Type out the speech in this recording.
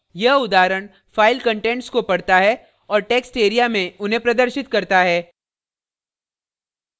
यह उदाहरण file contents को पढ़ता है और textareaमें उन्हें प्रदर्शित करता है